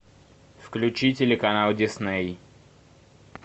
включи телеканал дисней